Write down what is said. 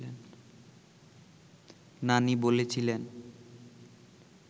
নানি বলেছিলেন